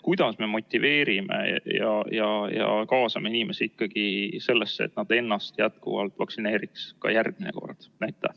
Kuidas me motiveerime ja kaasame inimesi ikkagi sellesse, et nad ennast vaktsineeriks ka järgmine kord?